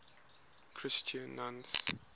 christian nuns